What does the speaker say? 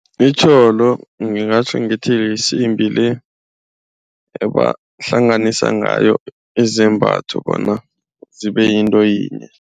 Itjholo ngingatjho ngithi yisimbi le ebahlanganisa ngayo izembatho bona zibe yinto yinye.